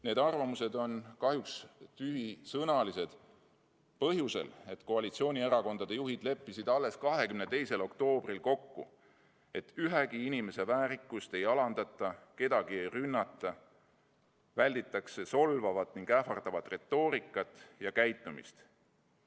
Need arvamused on kahjuks tühisõnalised põhjusel, et koalitsioonierakondade juhid leppisid alles 22. oktoobril kokku, et ühegi inimese väärikust ei alandata, kedagi ei rünnata, välditakse solvavat ning ähvardavat retoorikat ja käitumist.